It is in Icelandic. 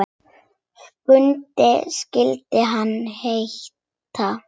Skundi skyldi hann heita.